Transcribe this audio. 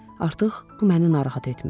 Artıq bu məni narahat etmir.